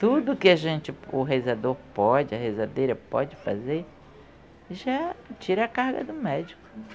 Tudo que a gente, o rezador pode, a rezadeira pode fazer, já tira a carga do médico.